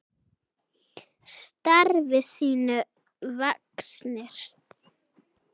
Starfi sínu vaxnir.